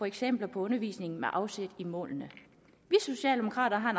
eksempler på undervisningen med afsæt i målene vi socialdemokrater har